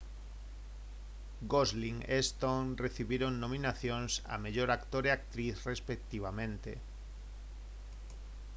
gosling e stone recibiron nominacións a mellor actor e actriz respectivamente